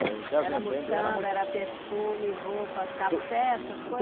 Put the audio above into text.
Era mutamba, era perfume, roupa, café, essas.